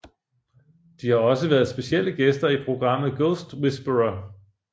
De har også været specielle gæster i programmet Ghost Whisperer